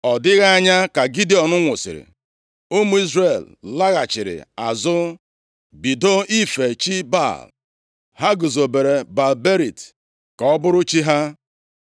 Ọ dịghị anya ka Gidiọn nwụsịrị, ụmụ Izrel laghachiri azụ bido ife chi Baal. Ha guzobere Baal-Berit + 8:33 Baal-Berit bụ arụsị, ụlọ ya dị nʼobodo Shekem. ka ọ bụrụ chi ha.